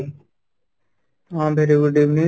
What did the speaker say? ହଁ, very good evening